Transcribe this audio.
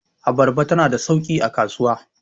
abarba tana da sauki a kasuwa